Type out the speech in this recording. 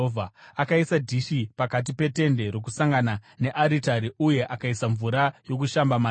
Akaisa dhishi pakati peTende Rokusangana nearitari uye akaisa mvura yokushamba mariri,